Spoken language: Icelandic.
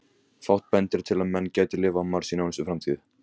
Fátt bendir til að menn geti lifað á Mars í nánustu framtíð.